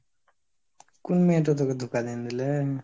কুন মেয়েটো তোকে ধোকা দীন দিলে?